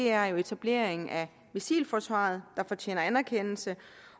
er jo etableringen af missilforsvaret der fortjener anerkendelse